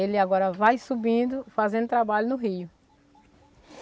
Ele agora vai subindo, fazendo o trabalho no rio.